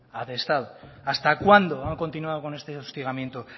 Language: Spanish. atestado hasta cuándo han continuado con este hostigamiento